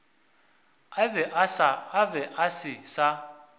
a be a se sa